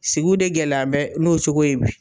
Sigiw de gɛlɛyabɛ n'o cogo ye bi